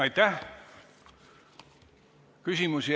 Aitäh!